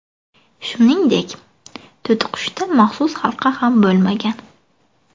Shuningdek, to‘tiqushda maxsus halqa ham bo‘lmagan.